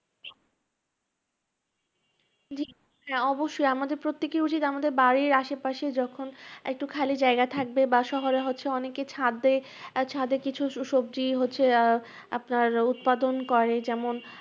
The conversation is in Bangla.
জি হ্যাঁ অবশ্যই, আমাদের প্রত্যেকর উচিত আমাদের বাড়ির আশেপাশে যখন একটু খালি জায়গা থাকবে বা শহরে হচ্ছে অনেকে ছাদে এর ছাদে কিছু কিছু সবজি হচ্ছে আহ আপনার উৎপাদন করে যেমন